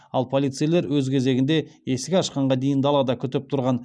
ал полицейлер өз кезегінде есік ашқанға дейін далада күтіп тұрған